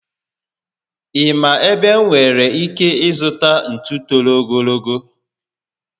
Ị ma ebe m nwèrè ike ịzụta ntú toro ogologo?